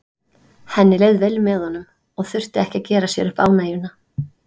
Henni leið vel með honum og þurfti ekki að gera sér upp ánægjuna.